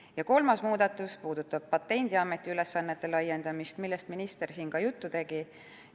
Ja kolmas muudatus puudutab Patendiameti ülesannete laiendamist, millest minister siin ka juttu tegi.